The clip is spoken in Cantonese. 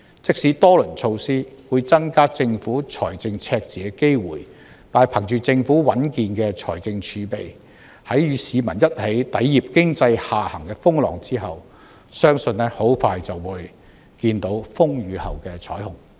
即使多輪措施會增加政府財政赤字的機會，但憑着政府穩健的財政儲備，在與市民一起抵禦經濟下行的風浪後，相信很快便看到風雨後的彩虹。